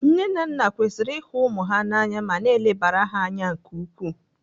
Nne na nna kwesịrị ihu ụmụ ha na anya ma na-elebara ha anya nke ukwuu.